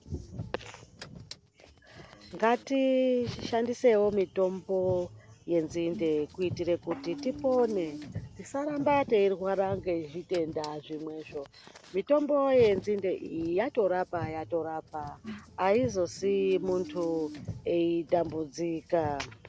Ngatishandiseiwo mitombo yenzinde kuitire kuti tipone tisaramba teyirwara ngezvitenda zvinwe zvoo mitombo yenzinde iyi yatorapa yatorapa ayizosiyi muntu eyitambudzika.